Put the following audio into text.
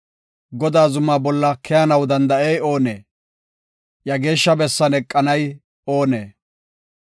Godaa zuma bolla keyanaw danda7ey oonee? Iya geeshsha bessan eqanay oonee?